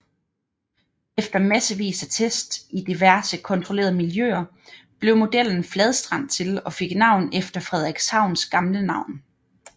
Efter massevis af tests i diverse kontrollerede miljøer blev modellen Fladstrand til og fik navn efter Frederikshavns gamle navn